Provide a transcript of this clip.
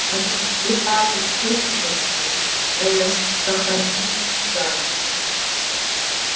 они отдыхали шесть месяцев ээ с сохранением заработка